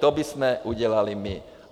To bychom udělali my.